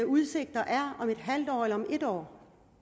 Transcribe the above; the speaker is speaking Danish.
udsigter er om et halvt år eller et år